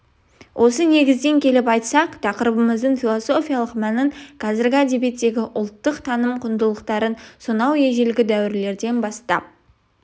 осы негізден келіп айтсақ тақырыбымыздың философиялық мәнін қазіргі әдебиеттегі ұлттық таным құндылықтарын сонау ежелгі дәуірлерден бастап